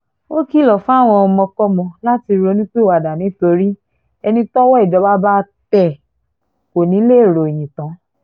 ó kìlọ̀ fáwọn ọmọkọ́mọ láti ronúpìwàdà nítorí ẹni tọ́wọ́ ìjọba bá tẹ̀ kò ní í lè ròyìn tán